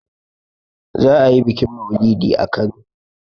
za a yi bikin maulidi a Kano